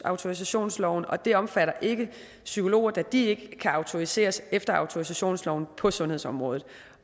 autorisationsloven og det omfatter ikke psykologer da de ikke kan autoriseres efter autorisationsloven på sundhedsområdet